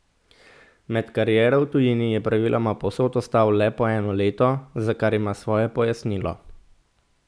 Med kariero v tujini je praviloma povsod ostal le po eno leto, za kar ima svoje pojasnilo.